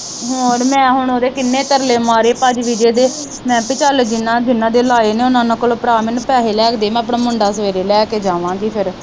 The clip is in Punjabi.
ਹੋਰ ਮੈ ਹੁਣ ਉਹਦੇ ਕਿਨ੍ਹੇ ਤਰਲੇ ਮਾਰੇ ਭਾਜੀ ਵਿਜੈ ਦੇ ਮੈ ਕਿਹਾ ਪੀ ਚਲ ਜਿਨ੍ਹਾਂ ਜਿਨ੍ਹਾਂ ਦੇ ਲਾਏ ਨੇ ਉਹਨਾਂ ਉਹਨਾਂ ਕੋਲੋਂ ਭਰਾ ਮੈਨੂੰ ਪੈਸੇ ਲੈ ਕੇ ਦੇ ਮੈ ਆਪਣਾ ਮੁੰਡਾ ਸਵੇਰੇ ਲੈ ਕੇ ਜਾਵਾ ਗੀ ਫਿਰ।